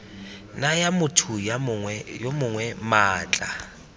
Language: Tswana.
naya motho yo mongwe maatla